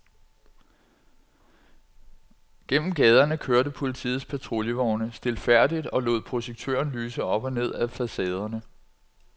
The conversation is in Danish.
Gennem gaderne kørte politiets patruljevogne stilfærdigt og lod projektøren lyse op og ned ad facaderne.